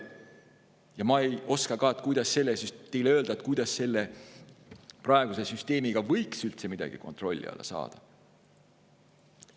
Ja ma ei oska ka teile öelda, kuidas selle praeguse süsteemiga võiks üldse midagi kontrolli alla saada.